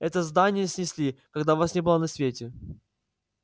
это здание снесли когда вас не было на свете